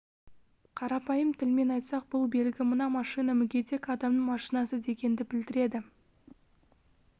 қарапайым тілмен айтсақ бұл белгі мына машина мүгедек адамның машинасы дегенді білдіреді